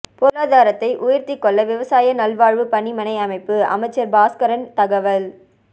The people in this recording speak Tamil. பொருளாதாரத்தை உயர்த்தி கொள்ள விவசாய நல்வாழ்வு பணிமனை அமைப்பு அமைச்சர் பாஸ்கரன் தகவல்